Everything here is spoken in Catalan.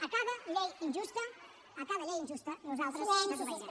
a cada llei injusta a cada llei injusta nosaltres desobeirem